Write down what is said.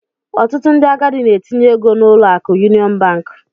Ọtụtụ ndị agadi n'etinye ego n'ụlọ akụ yuniọn bank.